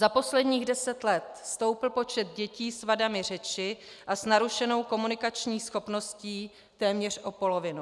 Za posledních deset let stoupl počet dětí s vadami řeči a s narušenou komunikačních schopností téměř o polovinu.